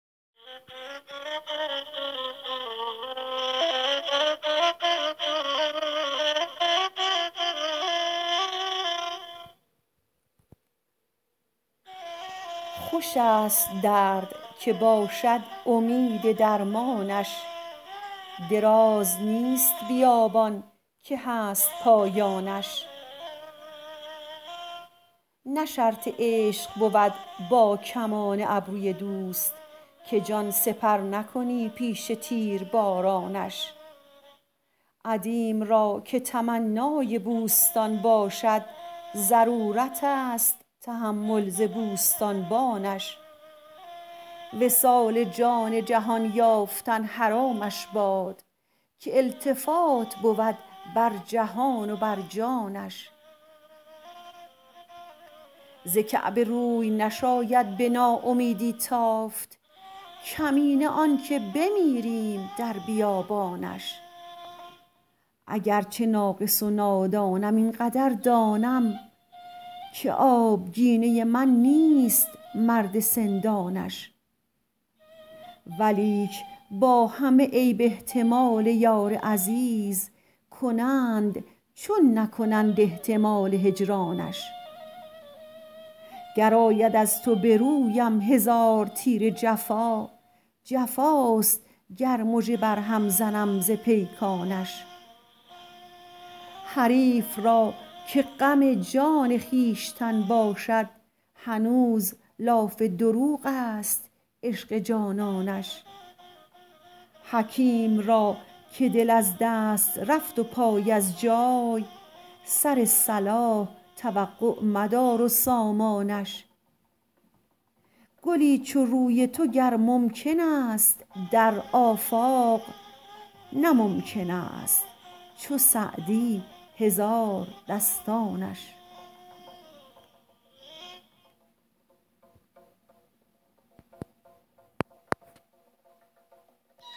خوش است درد که باشد امید درمانش دراز نیست بیابان که هست پایانش نه شرط عشق بود با کمان ابروی دوست که جان سپر نکنی پیش تیربارانش عدیم را که تمنای بوستان باشد ضرورت است تحمل ز بوستانبانش وصال جان جهان یافتن حرامش باد که التفات بود بر جهان و بر جانش ز کعبه روی نشاید به ناامیدی تافت کمینه آن که بمیریم در بیابانش اگر چه ناقص و نادانم این قدر دانم که آبگینه من نیست مرد سندانش ولیک با همه عیب احتمال یار عزیز کنند چون نکنند احتمال هجرانش گر آید از تو به رویم هزار تیر جفا جفاست گر مژه بر هم زنم ز پیکانش حریف را که غم جان خویشتن باشد هنوز لاف دروغ است عشق جانانش حکیم را که دل از دست رفت و پای از جای سر صلاح توقع مدار و سامانش گلی چو روی تو گر ممکن است در آفاق نه ممکن است چو سعدی هزاردستانش